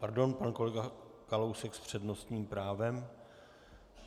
Pardon, pan kolega Kalousek s přednostním právem.